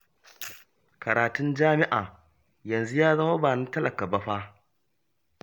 Karatun jami'a yanzu ya zama ba na talaka ba fa